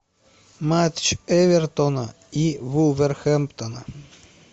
матч эвертона и вулверхэмптона